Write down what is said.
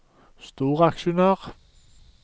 storaksjonær